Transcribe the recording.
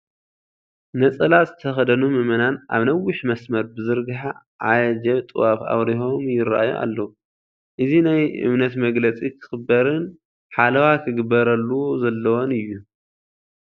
ነፀላ ዝተኸደኑ ምእመናን ኣብ ነዊሕ መስመር ብዘርሐ ዓጀብ ጡዋፍ ኣብሪሆም ይርአዩ ኣለዉ፡፡ እዚ ናይ እምነት መግለፂ ክኽበርን ሓለዋ ክበረሉ ዘለዎን እዩ፡፡